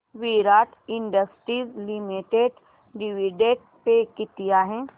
विराट industries limited dividend pay किती आहे